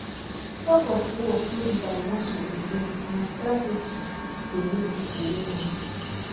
tugofwar no be by muscle alone na strategy dey make people win am